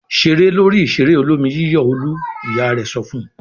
"Ṣeré lórí ìṣeré olómi-yíyọ̀ Olú!" Ìyá rẹ̀ sọ fún un.